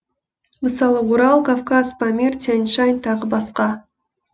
мысалы орал кавказ памир тянь шань тағы басқа